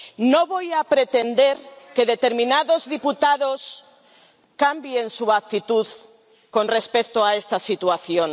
No voy a pretender que determinados diputados cambien su actitud con respecto a esta situación.